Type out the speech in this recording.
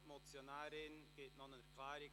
Die Motionärin gibt dazu eine Erklärung ab.